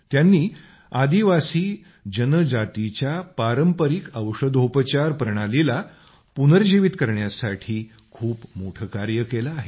त्यांनी आदिवासी जनजातीच्या पारंपरिक औषधोपचार प्रणालीला पुनर्जीवित करण्यासाठी खूप मोठे कार्य केले आहे